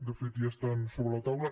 de fet ja estan sobre la taula